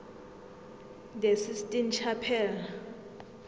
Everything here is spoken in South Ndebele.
the sistine chapel